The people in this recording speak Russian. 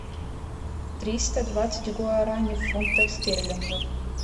триста двадцать гуарани в фунтах стерлингов